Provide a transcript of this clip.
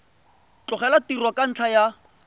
tlogela tiro ka ntlha ya